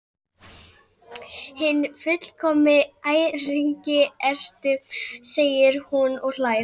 Hinn fullkomni æringi ertu, segir hún og hlær.